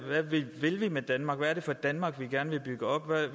vi vil med danmark hvad det er for et danmark vi gerne vil bygge op